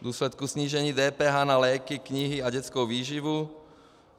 V důsledku snížení DPH na léky, knihy a dětskou výživu.